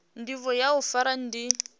ndivho ya u fara ndi